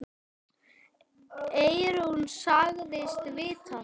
Eyrún sagðist vita það.